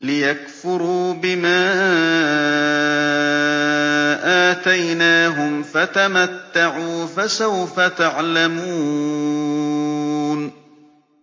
لِيَكْفُرُوا بِمَا آتَيْنَاهُمْ ۚ فَتَمَتَّعُوا فَسَوْفَ تَعْلَمُونَ